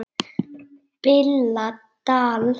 BILLA DAL